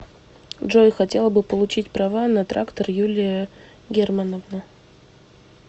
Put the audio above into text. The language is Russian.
джой хотела бы получить права на трактор юлия германовна